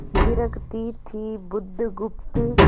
थिरकती थी बुधगुप्त